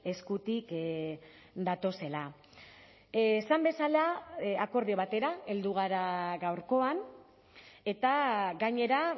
eskutik datozela esan bezala akordio batera heldu gara gaurkoan eta gainera